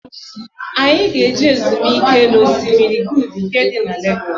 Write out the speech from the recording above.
Anyi ga-eje ezumike na Osimiri Good nke di na Legoosu